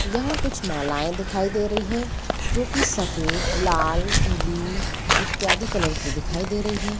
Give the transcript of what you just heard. यहाँ कुछ मालाएँ दिखाई दे रही हैं जो कि सफेद लाल पीली इत्यादि कलर की दिखाई दे रही हैं।